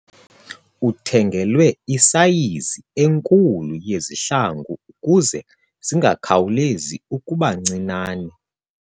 Uthengelwe isayizi enkulu yezihlangu ukuze zingakhawulezi ukuba ncinane.